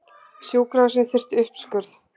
Sjúkrahúsin þurftu uppskurð